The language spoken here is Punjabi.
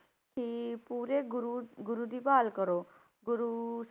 ਕਿ ਪੂਰੇ ਗੁਰੂ ਗੁਰੂ ਦੀ ਭਾਲ ਕਰੋ ਗੁਰੂ,